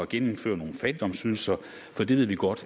genindføre nogen fattigdomsydelser for det ved vi godt